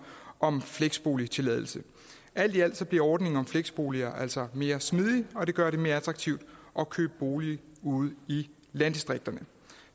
om fleksboligtilladelse alt i alt bliver ordningen om fleksboliger altså mere smidig og det gør det mere attraktivt at købe bolig ude i landdistrikterne